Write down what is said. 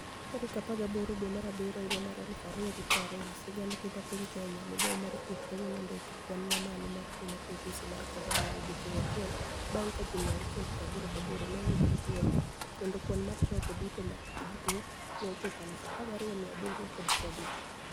18 dwe mar abiryo, 2020 siganid nigima piniy keniya, migao mar thieth kawuono onidiko kwani mamalo mar tuo mar midhusi mar koronia e odiechienig' achiel banig' ka ji 688 ni e oyudi nii niigi tuwono kenido kwani mar jogo duto ma niigi tuwono ni e ochopo 12,750.